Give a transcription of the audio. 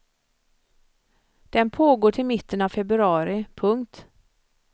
Den pågår till mitten av februari. punkt